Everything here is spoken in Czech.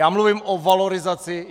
Já mluvím o valorizaci.